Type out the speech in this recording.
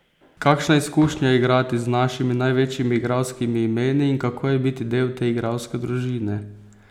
Kakšna izkušnja je igrati z našimi največjimi igralskimi imeni in kako je biti del te igralske družine?